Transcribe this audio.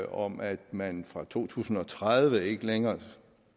om at man fra to tusind og tredive ikke længere